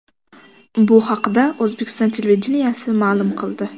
Bu haqda O‘zbekiston televideniyesi ma’lum qildi.